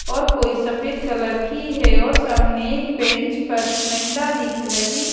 और कोई सफेद कलर की है और सामने एक बेंच पर महिला दिख रही--